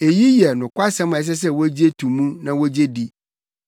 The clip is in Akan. Eyi yɛ nokwasɛm a ɛsɛ sɛ wogye to mu na wogye di.